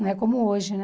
Não é como hoje, né?